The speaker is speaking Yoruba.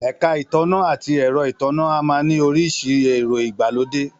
Èka ìtànná ati ero ìtànná a máa ni oríṣi èro ìgbàlódé